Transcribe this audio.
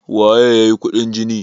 waye ya yi kuɗin jini?